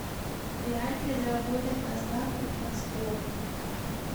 реально ли заработать на ставках на спорт